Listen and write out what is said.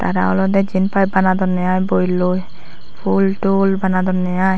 tara olede jinpai banadonne ai boiloi pultul banadonne ai.